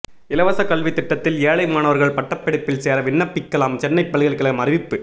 இலவச கல்வி திட்டத்தில் ஏழை மாணவர்கள் பட்டப் படிப்பில் சேர விண்ணப்பிக்கலாம் சென்னை பல்கலைக்கழகம் அறிவிப்பு